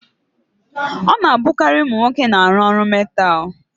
Ọ na-abụkarị ụmụ nwoke na-arụ ọrụ metaalụ.